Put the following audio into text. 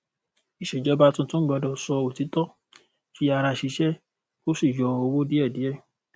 ìṣèjọba tuntun gbọdọ sọ òtítọ fi ara ṣiṣẹ kó sì yọ owó díẹdíẹ